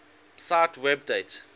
cite web date